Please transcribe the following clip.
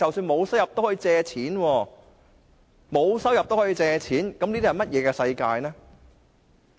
"沒有收入都可以借錢，這是怎麼樣的世界呢？